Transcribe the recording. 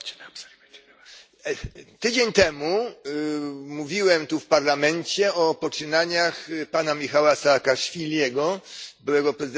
Tydzień temu mówiłem w Parlamencie o poczynaniach pana Michała Saakaszwilego, byłego prezydenta Gruzji, na Ukrainie.